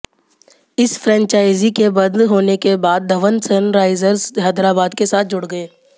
इस फ्रैंचाइजी के बंद होने के बाद धवन सनराइजर्स हैदराबाद के साथ जुड़ गए